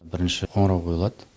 бірінші қоңырау қойылады